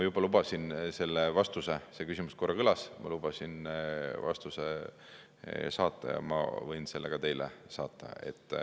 Ma lubasin selle vastuse saata – see küsimus korra juba kõlas – ja ma võin selle ka teile saata.